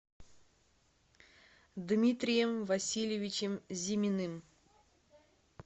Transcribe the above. дмитрием васильевичем зиминым